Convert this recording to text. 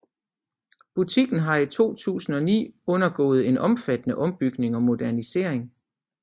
Butikken har i 2009 undergået en omfattende ombygning og modernisering